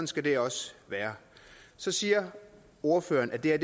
skal det også være så siger ordføreren at det her